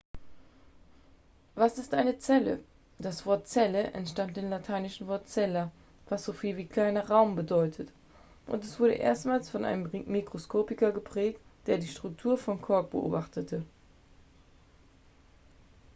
was ist eine zelle das wort zelle entstammt dem lateinischen wort cella was so viel wie kleiner raum bedeutet und es wurde erstmals von einem mikroskopiker geprägt der die struktur von kork beobachtete